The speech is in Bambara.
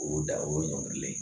O y'o da o ye ɲɔngirilen ye